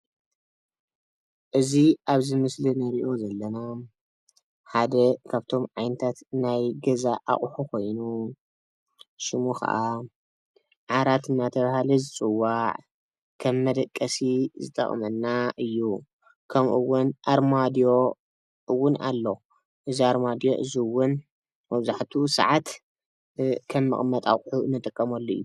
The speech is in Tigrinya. እዚ ኣብዚ ምስሊ እንርእዮ ዘለና ሓደ ካብቶም ዓይነታት ናይ ገዛ ኣቁሑ ኮይኑ ሽሙ ከዓ ዓራት እንዳተባሃለ ዝፅዋዕ ከም መደቀሲ ዝጠቅመና እዩ። ከምእውን ኣርማድዮ እውን ኣሎ። እዚ ኣርማድዮ እዚ እውን መብዛሕትኡ ሰዓት ከም መቀመጢ ኣቁሑ ንጥቀመሉ እዩ።